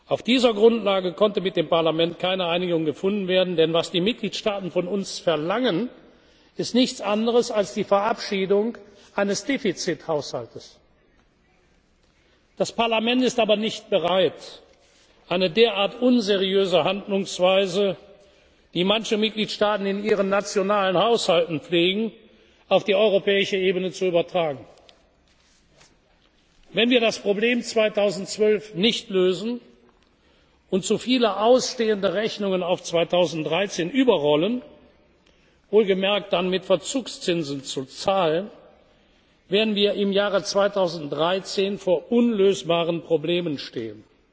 der vergangenen Woche getan. Auf dieser Grundlage konnte mit dem Parlament keine Einigung gefunden werden, denn was die Mitgliedstaaten von uns verlangen, ist nichts anderes als die Verabschiedung eines Defizithaushalts. Das Parlament ist aber nicht bereit, eine derart unseriöse Handlungsweise, die manche Mitgliedstaaten in ihren nationalen Haushalten pflegen, auf die europäische Ebene zu übertragen. Wenn wir das Problem 2012 nicht lösen und zu viele ausstehende Rechnungen auf 2013 überrollen wohlgemerkt dann mit Verzugszinsen zu zahlen werden wir im Jahr 2013 vor